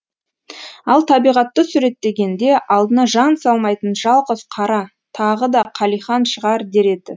ал табиғатты суреттегенде алдына жан салмайтын жалғыз қара тағы да қалихан шығар дер еді